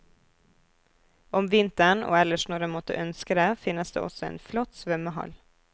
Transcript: Om vinteren, og ellers når en måtte ønske det, finnes det også en flott svømmehall.